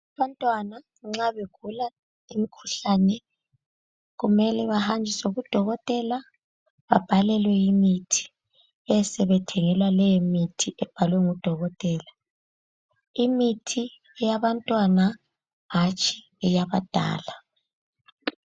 Abantwana nxa begula imikhuhlane kumele bahanjiswe kudokotela, babhalelwe imithi, besebethengelwa leyomithi ebhalwe ngudokotela. Imithi eyabantwana hatshi eyabadala.